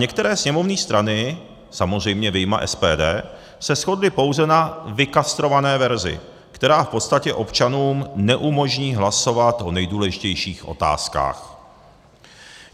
Některé sněmovní strany, samozřejmě vyjma SPD, se shodly pouze na vykastrované verzi, která v podstatě občanům neumožní hlasovat o nejdůležitějších otázkách.